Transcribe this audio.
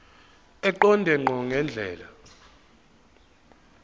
eqonde ngqo ngendlela